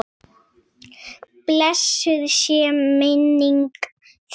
Blessuð sé minning þín!